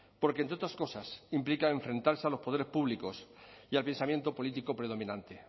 porque entre otras cosas implica enfrentarse a los poderes públicos y al pensamiento político predominante